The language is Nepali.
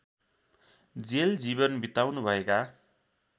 जेल जीवन बिताउनु भएका